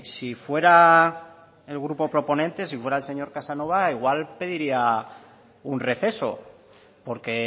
si fuera el grupo proponente si fuera el señor casanova igual pediría un receso porque